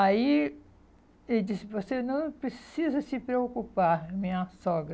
Aí ele disse, você não precisa se preocupar, minha sogra.